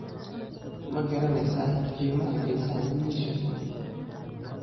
ma garanaysaa qiimaha geesaha wiyisha?